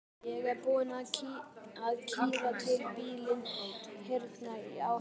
Ég er búin að kría út bílinn hérna á heimilinu.